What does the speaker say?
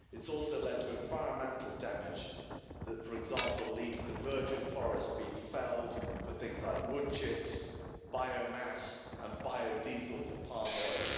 It's also led to environmental damage that, for example, leads to virgin forest being been felled for things like wood chips, biomass and biodiesel for palm oil.